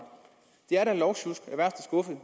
det er da lovsjusk af værste skuffe